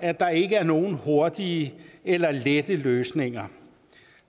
at der ikke er nogen hurtige eller lette løsninger